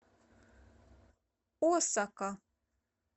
осака